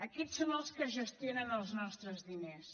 aquests són els que gestionen els nostres diners